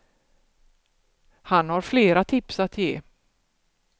Han har flera tips att ge.